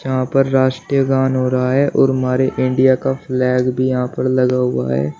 यहां पर राष्ट्रीय गान हो रहा है और हमारे इंडिया का फ्लैग भी यहां पर लगा हुआ है।